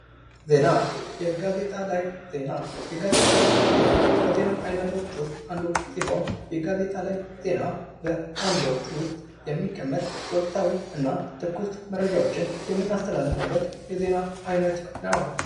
ዜና ፥ የጋዜጣ ላይ ዜና፡- የጋዜጣ ላይ ዜና ከዜና አይነቶች ውስጥ አንዱ ሲሆን ፤የጋዜጣ ዜና በአምዶች ውስጥ የሚቀመጥ ትኩስ የሆኑና ወቅታዊ መረጃዎችን የምናስተላልፍበት የዜና አይነት ነው።